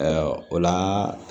o la